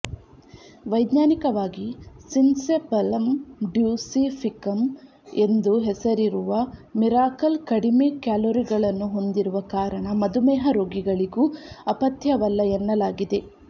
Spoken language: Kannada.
ವೈಜ್ಞಾನಿಕವಾಗಿ ಸಿನ್ಸೆಪಲಂ ಡ್ಯುಸಿಫಿಕಂ ಎಂದು ಹೆಸರಿರುವ ಮಿರಾಕಲ್ ಕಡಮೆ ಕ್ಯಾಲೊರಿಗಳನ್ನು ಹೊಂದಿರುವ ಕಾರಣ ಮಧುಮೇಹ ರೋಗಿಗಳಿಗೂ ಅಪಥ್ಯವಲ್ಲ ಎನ್ನಲಾಗಿದೆ